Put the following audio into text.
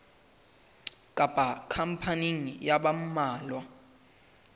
kapa khampani ya ba mmalwa